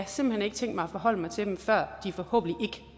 simpelt hen ikke tænkt mig at forholde mig til dem før de forhåbentlig